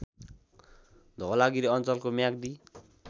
धवलागिरी अञ्चलको म्याग्दी